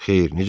Xeyr, necə ki?